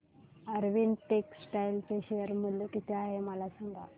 Arvind textile चे share मूल्य किती आहे मला सांगा